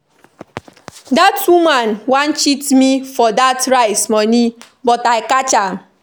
Dat woman wan cheat me for dat rice money but I catch am